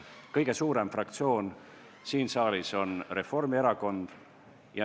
Kõige suurem fraktsioon siin saalis on Reformierakond.